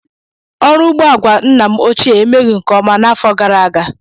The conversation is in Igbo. Ọrụ ugbo àgwà nna m ochie emeghị nke ọma n'afọ gara aga.